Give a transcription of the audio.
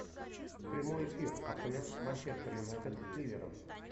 прямой эфир апл манчестер юнайтед с ливером